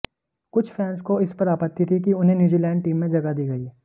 कुछ फैंस को इस पर आपत्ति थी कि उन्हें न्यूजीलैंड टीम में जगह दी गई